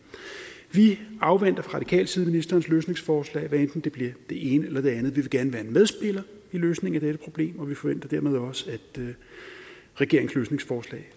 vi afventer fra radikal side ministerens løsningsforslag hvad enten det bliver det ene eller det andet vi vil gerne være en medspiller i løsningen af dette problem og vi forventer dermed også at regeringens løsningsforslag